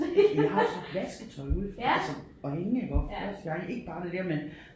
Jeg har også haft vasketøj ude altså og hænge iggå første gang ikke bare det der man